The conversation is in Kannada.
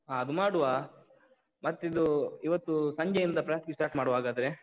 ಹ ಅದು ಮಾಡುವ, ಮತ್ತಿದು ಇವತ್ತು ಸಂಜೆಯಿಂದ practice start ಮಾಡುವ ಹಾಗಾದ್ರೆ.